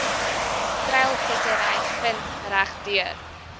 treilvissery vind regdeur